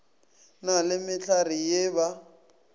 na le mehlare ye ba